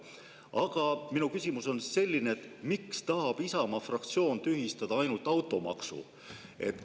Aga minu küsimus on selline: miks tahab Isamaa fraktsioon tühistada ainult automaksu?